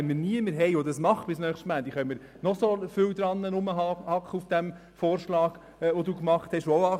Wenn wir niemanden finden, der dies bis nächsten Montag tut, können wir noch lange auf dem angenommenen Vorschlag herumreiten.